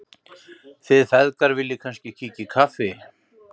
Þið feðgar viljið kannski kíkja í kaffi?